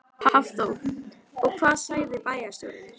Hafþór: Og hvað sagði bæjarstjórinn?